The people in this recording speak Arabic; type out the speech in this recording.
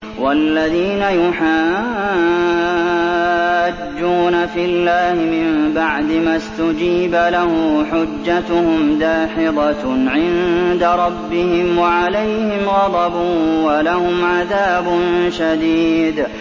وَالَّذِينَ يُحَاجُّونَ فِي اللَّهِ مِن بَعْدِ مَا اسْتُجِيبَ لَهُ حُجَّتُهُمْ دَاحِضَةٌ عِندَ رَبِّهِمْ وَعَلَيْهِمْ غَضَبٌ وَلَهُمْ عَذَابٌ شَدِيدٌ